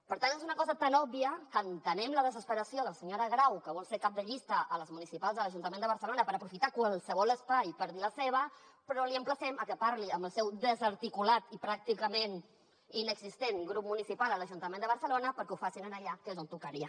per tant és una cosa tan òbvia que entenem la desesperació de la senyora grau que vol ser cap de llista a les municipals de l’ajuntament de barcelona per aprofitar qualsevol espai per dir hi la seva però l’emplacem a que parli amb el seu desarticulat i pràcticament inexistent grup municipal a l’ajuntament de barcelona perquè ho facin allà que és on tocaria